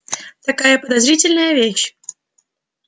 такая подозрительная вещь